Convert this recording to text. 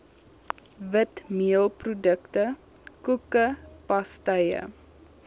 witmeelprodukte koeke pastye